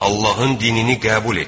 Allahın dinini qəbul etdik.